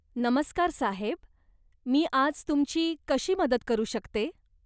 नमस्कार साहेब. मी आज तुमची कशी मदत करू शकते?